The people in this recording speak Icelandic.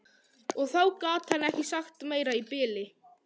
Og þá gat hann ekki sagt meira í bili.